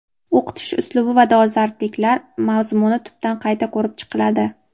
o‘qitish uslubi va darsliklar mazmuni tubdan qayta ko‘rib chiqiladi.